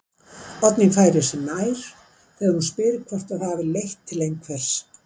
Oddný færir sig nær mér þegar hún spyr hvort það hafi leitt til einhvers.